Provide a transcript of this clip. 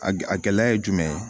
A gɛ a gɛlɛya ye jumɛn ye